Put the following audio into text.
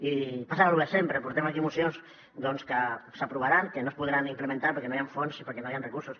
i passa lo de sempre portem aquí mocions que s’aprovaran que no es podran implementar perquè no hi han fons i perquè no hi han recursos